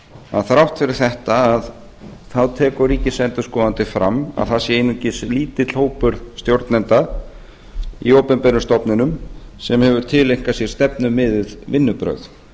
að þrátt fyrir þetta tekur ríkisendurskoðandi fram að það sé aðeins lítill hópur stjórnenda í opinberum stofnunum sem hefur tileinkað sér stefnumiðuð vinnubrögð